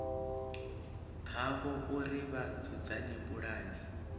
havho uri vha dzudzanye pulane